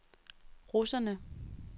russerne